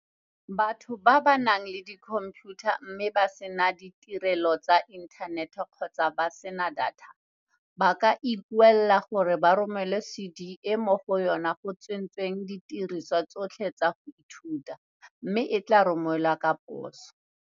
Batho ba ba nang le dikhomphiutha mme ba sena ditirelo tsa inthanete kgotsa ba sena data, ba ka ikuela gore ba romelwe CD e mo go yona go tsentsweng didirisiwa tsotlhe tsa go ithuta, mme e tla romelwa ka poso.